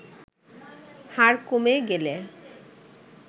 হার কমে গেলে